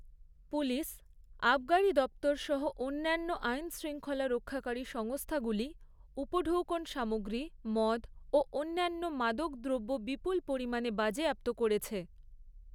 Police, আবগারি দপ্তর সহ অন্যান্য আইন শৃঙ্খলা রক্ষাকারী সংস্থাগুলি উপঢৌকন সামগ্রী, মদ ও অন্যান্য মাদক দ্রব্য বিপুল পরিমাণে বাজেয়াপ্ত করেছে।